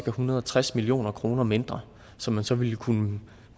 en hundrede og tres million kroner mindre som man så ville kunne